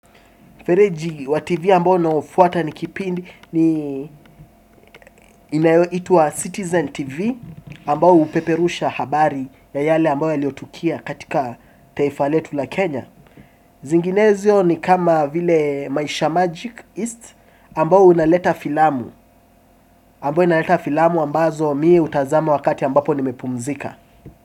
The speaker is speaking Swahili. Fereji wa TV ambao naofuata ni kipindi ni inaitwa Citizen TV ambao upeperusha habari ya yale ambao yaliotukia katika taifa letu la Kenya. Zinginezo ni kama vile Maisha Magic East ambao unaleta filamu ambazo mie hutazama wakati ambapo nimepumzika.